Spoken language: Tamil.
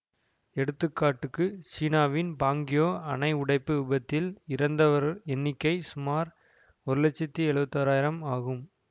எடுத்துக்காட்டுக்கு சீனாவின் பாங்கியோ அணை உடைப்பு விபத்தில் இறந்தவர் எண்ணிக்கை சுமார் ஒரு லட்சத்தி எழுவத்தி ஓராயிரம் ஆகும்